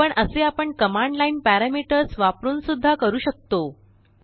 पण असे आपणकमांड लाइन परैमीटर्स वापरुन सुद्धा करू शकतो